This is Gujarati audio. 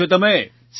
કેમ છો તમે